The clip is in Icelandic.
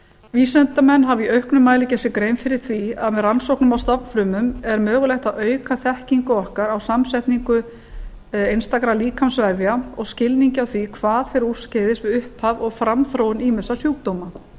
vísindamenn hafa í auknum mæli gert sér grein fyrir því að með rannsóknum á stofnfrumum er mögulegt að auka þekkingu okkar á samsetningu einstakra líkamsvefja og skilningi á því hvað fer úrskeiðis við upphaf og framþróun ýmissa sjúkdóma